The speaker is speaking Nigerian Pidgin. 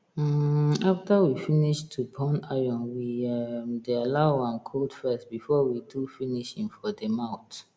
um after we finish to burn iron we um dey allow am cold first before we do finishing for de mouth